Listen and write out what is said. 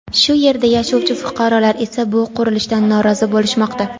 Shu yerda yashovchi fuqarolar esa bu qurilishdan norozi bo‘lishmoqda.